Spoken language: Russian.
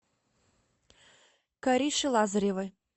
кариши лазаревой